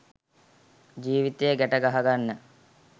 ජීවිතය ගැට ගහගන්න